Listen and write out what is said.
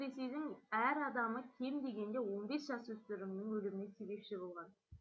ресейдің әр адамы кем дегенде он бес жасөспірімнің өліміне себепші болған